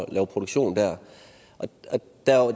at lave produktion der